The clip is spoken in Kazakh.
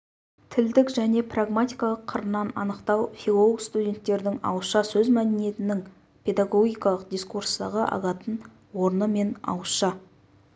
тілдік және прагматикалық қырынан анықтау филолог-студенттердің ауызша сөз мәдениетінің педагогикалық дискурстағы алатын орны мен ауызша